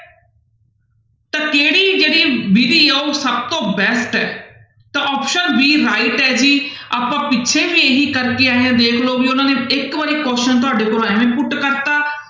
ਤਾਂ ਕਿਹੜੀ ਜਿਹੜੀ ਵਿਧੀ ਆ ਉਹ ਸਭ ਤੋਂ best ਹੈ ਤਾਂ option d right ਹੈ ਜੀ ਆਪਾਂ ਪਿੱਛੇ ਵੀ ਇਹੀ ਕਰਕੇ ਆਏ ਹਾਂ ਦੇਖ ਲਓ ਇੱਕ ਵਾਰੀ question ਤੁਹਾਡੇ ਕੋਲ ਇਵੇਂ put ਕਰ ਦਿੱਤਾ